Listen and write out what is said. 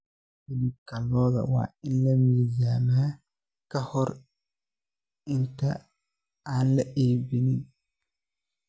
Hilibka lo'da waa in la miisaamaa ka hor inta aan la iibin.